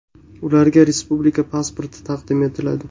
Ularga respublika pasporti taqdim etiladi.